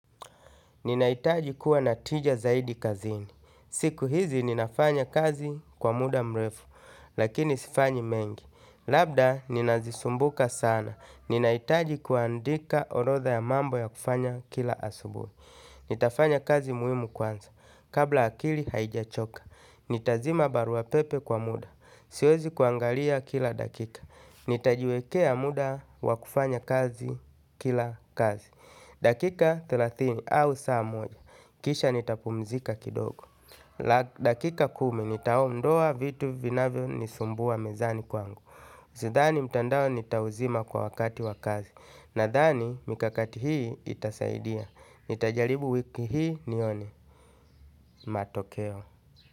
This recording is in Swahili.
Ninahitaji kuwa na tija zaidi kazini. Siku hizi ninafanya kazi kwa muda mrefu, lakini sifanyi mengi. Labda, ninazisumbuka sana. Ninahitaji kuandika orodha ya mambo ya kufanya kila asubuhi. Nitafanya kazi muhimu kwanza. Kabla akili haijachoka. Nitazima barua pepe kwa muda. Siwezi kuangalia kila dakika. Nitajiwekea muda wakufanya kazi kila kazi. Dakika thelathini thelathini au saa moja. Kisha nitapumzika kidogo. La dakika kumi nitaondoa vitu vinavyo nisumbua mezani kwangu sidhani mtandao nitauzima kwa wakati wa kazi. Nadhani mikakati hii itasaidia, nitajaribu wiki hii nione matokeo.